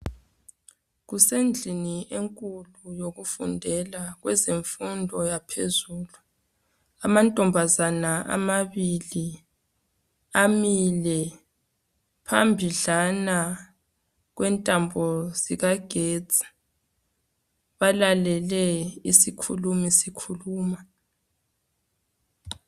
kusendlini enkulu yokufundela kwezemfundo yaphezulu amantombazana amabili amile phambidlana kwentambo zikagesti balalele isikhulumi sikhuluma.